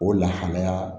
O lahalaya